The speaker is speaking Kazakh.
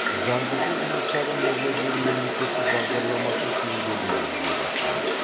жаңғырту жұмыстары нұрлы жер мемлекеттік бағдарламасы шеңберінде жүзеге асқан